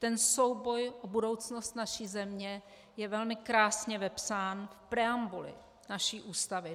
Ten souboj o budoucnost naší země je velmi krásně vepsán v preambuli naší Ústavy.